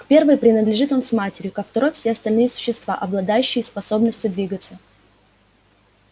к первой принадлежит он с матерью ко второй все остальные существа обладающие способностью двигаться